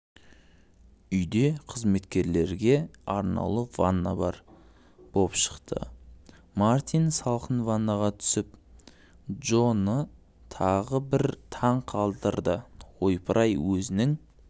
үйде қызметкерлерге арнаулы ванна бар боп шықты мартин салқын ваннаға түсіп джоны тағы бір таң қалдырдыойпыр-ай өзің